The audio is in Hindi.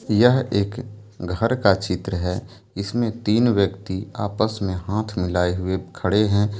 यह एक घर का चित्र है इसमें तीन व्यक्ति आपस में हाथ मिलाए हुए खड़े हैं।